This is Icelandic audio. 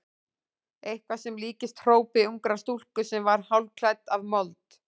Eitthvað sem líktist hrópi ungrar stúlku sem var hálfkæft af mold.